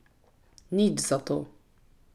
Nič zato.